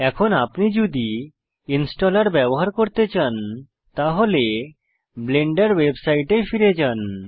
এখন আপনি যদি ইনস্টলার ব্যবহার করতে চান তাহলে ব্লেন্ডার ওয়েবসাইটে ফিরে যান